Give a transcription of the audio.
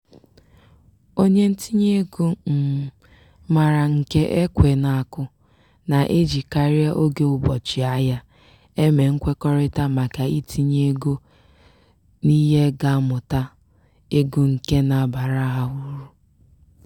onye ntinyeego um maara nke ekwe na-akụ na-ejikarị oge ụbọchị-ahịa eme nkwekọrịta maka itinye ego n'ihe ga-amụta ego nke na-abara ha uru.